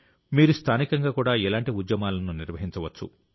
మీరు స్థానికంగా కూడా ఇలాంటి ఉద్యమాలను నిర్వహించవచ్చు